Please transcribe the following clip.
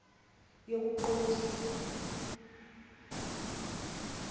yokuqondisa